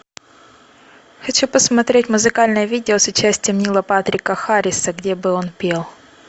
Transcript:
хочу посмотреть музыкальное видео с участием нила патрика харриса где бы он пел